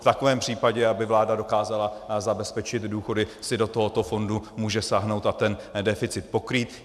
V takovém případě aby vláda dokázala zabezpečit důchody, si do tohoto fondu může sáhnout a ten deficit pokrýt.